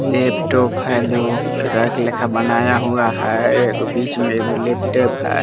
Laptop है दो rack लेखा बनाया हुआ है एक बीच में लैपटॉप है।